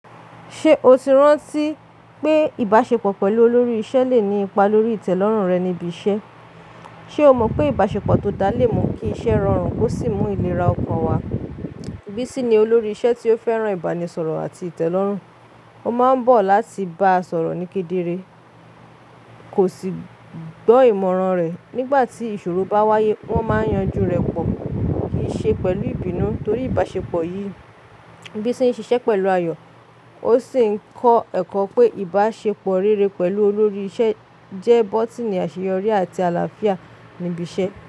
Ṣé o ti rántí pé ìbáṣepọ̀ pẹ̀lú olórí isẹ le ni ipa lórí ìtẹ́lọ́rùn rẹ ní ibi isẹ? Ṣe o mọ pe ìbáṣepọ̀ tó dáa le mú kí iṣẹ́ rọrùn ó sì mú ìlera ọkàn wa? Bísí ni olórí isẹ́ tí ó fẹ́ran ìbánisọ̀rọ̀ àti ìtẹ́lọ́rùn. Ó máa n bọ̀ láti bá a sọ̀rọ̀ ní kedere, kò sì gbọ́ ìmọ̀ràn rẹ̀. Nígbà tí ìṣòro bá wáyé, wọ́n máa yanjú rẹ̀ pọ̀, kì í ṣe pẹ̀lú ìbínú. Nítorí ìbáṣepọ̀ yìí, Bísí n ṣiṣẹ́ pẹ̀lú ayọ̀, ó sì ń kọ ẹ̀kọ́ pé ìbáṣepọ̀ rere pẹ̀lú olórí isẹ́ jẹ́ bọ́tíìnì àṣeyọrí àti àlàáfíà níbi isẹ́.